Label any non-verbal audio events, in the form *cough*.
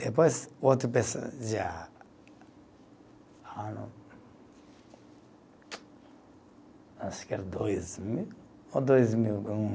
Depois, outro pessoa já *unintelligible* Acho que era dois mil, ou dois mil e um